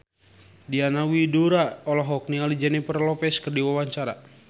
Diana Widoera olohok ningali Jennifer Lopez keur diwawancara